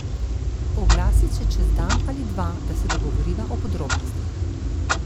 Oglasi se čez dan ali dva, da se dogovoriva o podrobnostih.